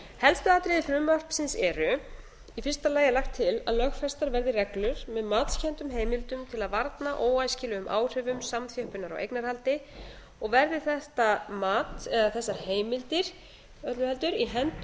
helstu atriði frumvarpsins eru í fyrsta lagi er lagt til að lögfestar verði reglur með matskenndum heimildum til að varna óæskilegum áhrifum samþjöppunar á eignarhaldi og verði þetta mat eða þessar heimildir öllu heldur í